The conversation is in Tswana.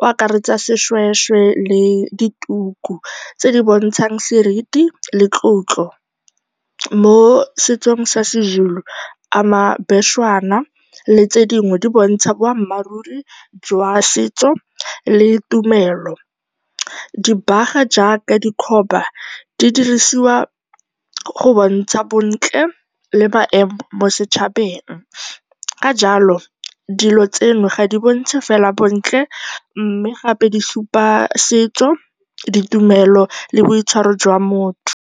o akaretsa seshweshwe le dituku tse di bontshang seriti le tlotlo. Mo setsong sa seZulu, amaBešwana le tse dingwe, di bontsha boammaaruri jwa setso le tumelo. Dibaga jaaka dikhoba, di dirisiwa go bontsha bontle le maemo mo setšhabeng. Ka jalo, dilo tseno ga di bontshe fela bontle mme gape di supa setso, ditumelo le boitshwaro jwa motho.